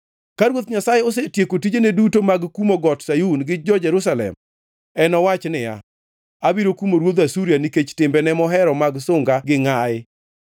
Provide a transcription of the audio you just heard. Ka Ruoth Nyasaye osetieko tijene duto mag kumo Got Sayun gi jo-Jerusalem, enowach niya, “Abiro kumo ruodh Asuria nikech timbene mohero mag sunga gi ngʼayi.